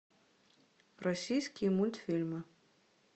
российские мультфильмы